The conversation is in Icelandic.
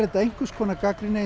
þetta einhvers konar gagnrýni